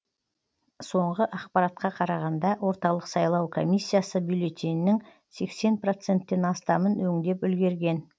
соңғы ақпаратқа қарағанда орталық сайлау комиссиясы бюллетеннің сексен проценттен астамын өңдеп үлгерген